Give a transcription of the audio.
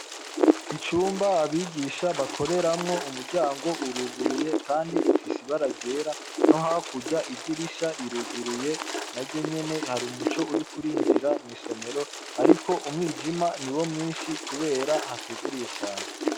Icumba abigisha bakoreramwo umuryango uruguruye kandi ufise ibara ryera no hakurya idirisha riruguruye naryo nyene hari umuco uriko urinjira mw'isomero ariko umwijima niwo mwishi kubera hatuguruye cane.